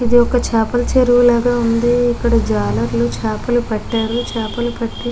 ఇక్కడ ఇది చపల చెరువు లాగా వుంది ఇక్కడ చాల మంది చాపల్లు పాతారు. చాపలు పట్టి --